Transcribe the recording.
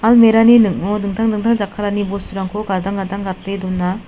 ning·o dingtang dingtang jakkalani bosturangko gadang gadang gate dona.